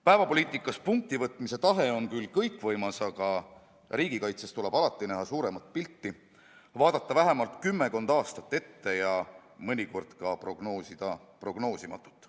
Päevapoliitikas punkti võtmise tahe on küll kõikvõimas, aga riigikaitses tuleb alati näha suuremat pilti, vaadata vähemalt kümmekond aastat ette ja mõnikord ka prognoosida prognoosimatut.